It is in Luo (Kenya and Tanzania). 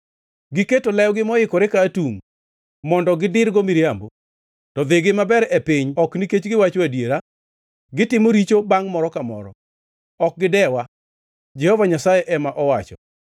“Giketo lewgi moikore ka atungʼ, mondo gidirgo miriambo; to dhigi maber e piny ok nikech giwacho adiera. Gitimo richo bangʼ moro ka moro; ok gidewa.” Jehova Nyasaye ema owacho.